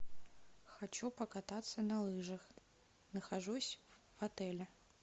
хочу покататься на лыжах нахожусь в отеле